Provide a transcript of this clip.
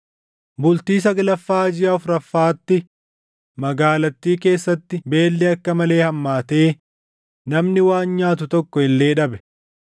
Bultii saglaffaa jiʼa afuraffaatti, magaalattii keessatti beelli akka malee hammaatee namni waan nyaatu tokko illee dhabe.